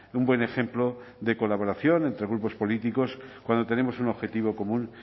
un buen ejemplo de colaboración entre grupos políticos cuando tenemos un objetivo común